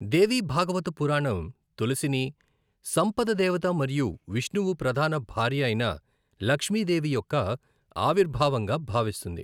దేవి భాగవత పురాణం తులసిని, సంపద దేవత మరియు విష్ణువు ప్రధాన భార్య అయిన లక్ష్మిదేవి యొక్క ఆవిర్భావంగా భావిస్తుంది.